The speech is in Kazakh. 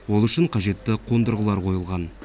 ол үшін қажетті қондырғылар қойылған